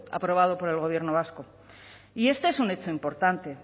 aprobado por el gobierno vasco y este es un hecho importante